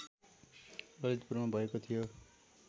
ललितपुरमा भएको थियो